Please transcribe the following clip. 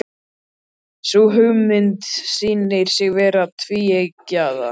Sú hugmynd sýnir sig vera tvíeggjaða.